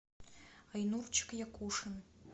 айнурчик якушин